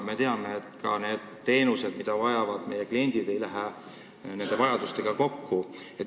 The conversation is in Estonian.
Me teame, et see, mida vajavad meie kliendid, ei lähe pakutavaga kokku.